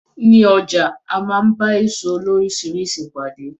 Ní ọjà a máa ń gba èso loríṣiríṣi pàdé.